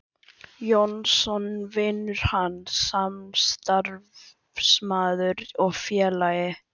Jónsson: vinur hans, samstarfsmaður og félagi.